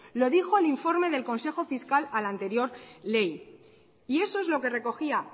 lo dijo el informe del consejo fiscal a la anterior ley y eso es lo que recogía